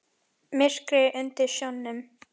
Myrkrið undir sjónum.